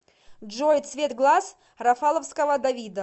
джой цвет глаз рафаловского давида